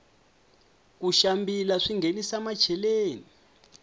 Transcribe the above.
ku xambila swinghenisa macheleni